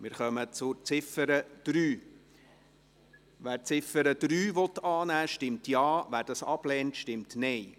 Wer die Ziffer 3 annehmen will, stimmt Ja, wer dies ablehnt, stimmt Nein.